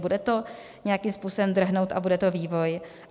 Bude to nějakým způsobem drhnout a bude to vývoj.